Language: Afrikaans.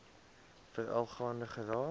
veral gaande geraak